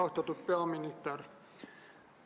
Austatud peaminister!